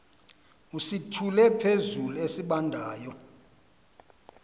usithule phezulu esibandayo